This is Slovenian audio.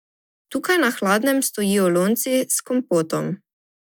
Tukaj na hladnem stojijo lonci s kompotom.